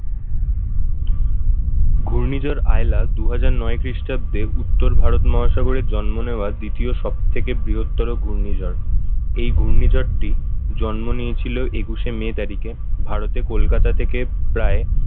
ঘূর্ণিঝড় আইলা দুই হাজার নয় খ্রিস্টাব্দে উত্তর ভারত মহাসাগরের জন্ম নেওয়ার দ্বিতীয় সব থেকে বৃহত্তর ঘূর্ণিঝড় এই ঘূর্ণিঝড়টি জন্ম নিয়েছিল একুশে মে তারিখে ভারতে কলকাতা থেকে প্রায়